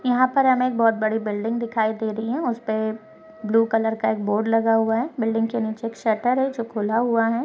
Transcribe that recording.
यहाँ पर हमें एक बहूत बड़ी बिल्डिंग दिखाई दे रही है उसपे ब्लू कलर का एक बोर्ड लगा हुआ है बिल्डिंग के निचे एक शटर हैं जो खुला हुआ है।